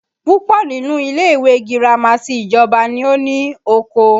Púpọ̀ nínú ilé ìwé girama ti ìjọba ni ó ní oko